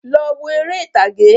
Lọ wo eré ìtàgé